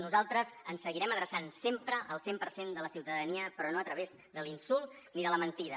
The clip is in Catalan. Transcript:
nosaltres ens seguirem adreçant sempre al cent per cent de la ciutadania però no a través de l’insult ni de la mentida